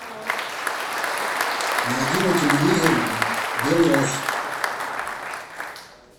найди на телевизоре белрос